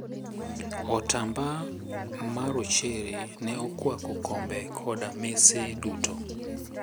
Otamba marochere ne okwako kombe koda mese duto.